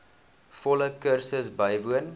volle kursus bywoon